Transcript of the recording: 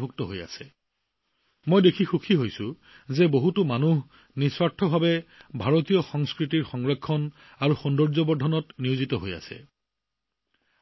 ভাৰতীয় সংস্কৃতিক সংৰক্ষণ আৰু অধিক সুন্দৰ কৰি তোলাৰ কামত কিমান মানুহ নিস্বাৰ্থভাৱে জড়িত হৈ আছে